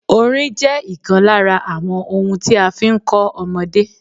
Orin jẹ́ ìkan lára àwọn ohun tí a fi ń kọ́ ọmọdé.